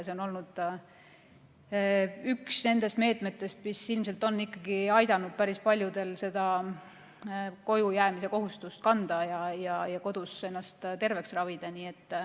See on olnud üks nendest meetmetest, mis ilmselt on ikkagi aidanud päris paljudel seda kojujäämise kohustust kanda ja kodus ennast terveks ravida.